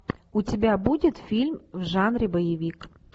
у тебя будет фильм в жанре боевик